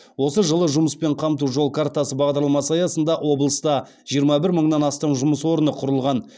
осы жылы жұмыспен қамту жол картасы бағдарламасы аясында облыста жиырма бір мыңнан астам жұмыс орны құрылған